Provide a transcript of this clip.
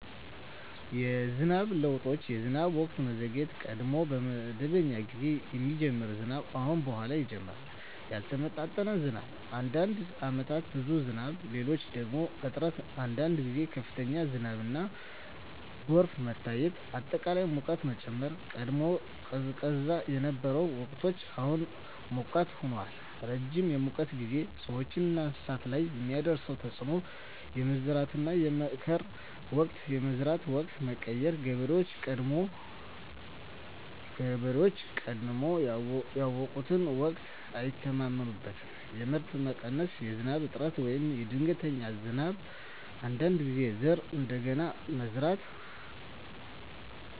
የዝናብ ለውጦች የዝናብ ወቅት መዘግየት – ቀድሞ በመደበኛ ጊዜ የሚጀምር ዝናብ አሁን በኋላ ይጀምራል ያልተመጣጠነ ዝናብ – አንዳንድ ዓመታት ብዙ ዝናብ፣ ሌሎች ደግሞ እጥረት አንዳንድ ጊዜ ከፍተኛ ዝናብና ጎርፍ መታየት አጠቃላይ ሙቀት መጨመር – ቀድሞ ቀዝቃዛ የነበሩ ወቅቶች አሁን ሞቃት ሆነዋል ረጅም የሙቀት ጊዜ – ሰዎችና እንስሳት ላይ የሚያደርስ ተፅዕኖ የመዝራትና የመከር ወቅት የመዝራት ወቅት መቀየር – ገበሬዎች ቀድሞ ያውቁትን ወቅት አይተማመኑበትም የምርት መቀነስ – በዝናብ እጥረት ወይም በድንገተኛ ዝናብ አንዳንድ ጊዜ ዘር እንደገና መዝራት